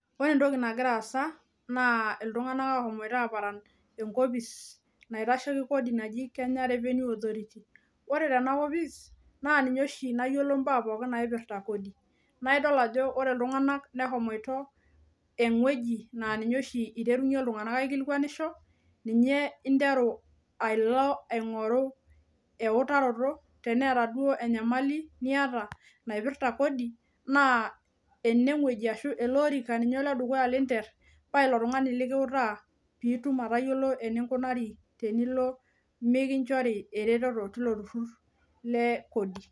Ore entoki nagira aasa naa iltunganak oshomoito aparan enkopis naitasheiki kodi naji kenya revenue authority . Ore tenakopis naa ninye oshi nayiolo mbaa pokin naipirta kodi naa idol ajo ore iltunganak neshomoito ewueji naa ninye oshi iteru iltunganak aikilikwanisho, ninye interu pilo aingoru eutaroto , teneta duo enyamali niata naipirta kodi ,naa enewueji ashu eleorika ninye oledukuya linter , paa ilotungani likiutaa pitum anoto eninkunari tenilo minkinchori ereteto tilo turur lekodi.